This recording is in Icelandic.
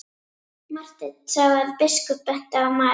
Marteinn sá að biskup benti á Maríu.